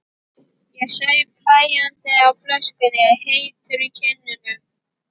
Ég saup hlæjandi á flöskunni, heitur í kinnum.